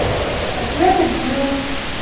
джек и джилл